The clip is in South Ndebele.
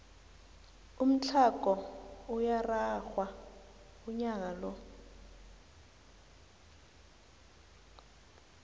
umthlago uyararhwa unyaka lo